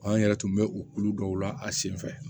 An yɛrɛ tun bɛ o kulu dɔw la a sen fɛ